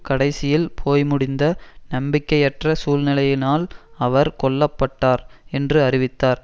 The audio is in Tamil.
கடைசியில் போய்முடிந்த நம்பிக்கையற்ற சூழ்நிலையினால் அவர் கொல்ல பட்டார் என்று அறிவித்தார்